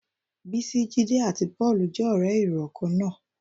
Bísí, Jídé àti Pọ́ọ̀lù jẹ́ ọ̀rẹ́ ìrọ̀ kan náà